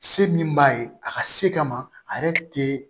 Se min b'a ye a ka se kama a yɛrɛ te